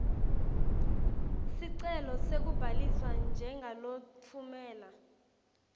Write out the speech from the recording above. sicelo sekubhaliswa njengalotfumela